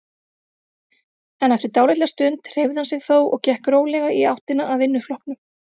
En eftir dálitla stund hreyfði hann sig þó og gekk rólega í áttina að vinnuflokknum.